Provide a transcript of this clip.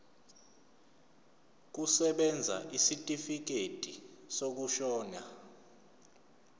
kusebenza isitifikedi sokushona